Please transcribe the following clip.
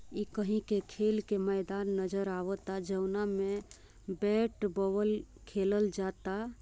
इ कहीं के खेल के मैदान नजर आवता जौना में बैट बॉल खेलेल जाता।